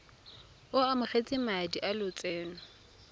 o amogetse madi a lotseno